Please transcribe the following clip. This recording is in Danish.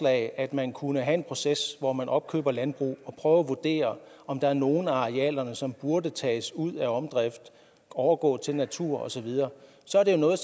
at man kunne have en proces hvor man opkøber landbrug og prøver at vurdere om der er nogle af arealerne som burde tages ud af omdrift og overgå til natur osv så er det jo noget